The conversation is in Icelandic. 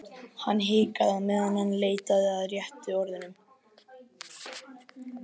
Hann hikaði á meðan hann leitaði að réttu orðunum.